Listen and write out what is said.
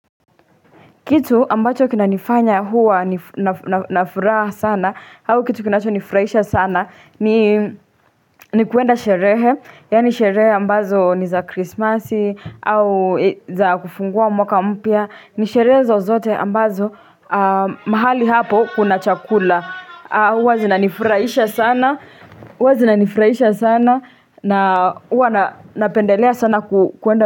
Kitu ambacho kinanifanya kuwa na furaha sana, au kitu kinacho nifurahisha sana, ni kuenda sherehe. Yaani sherehe ambazo ni za krismasi, au za kufungua mwaka mpya, ni sherehe zozote ambazo mahali hapo kuna chakula. Huwa zinanifurahisha sana, huwa zinanifurahisha sana, na huwa napendelea sana kuenda.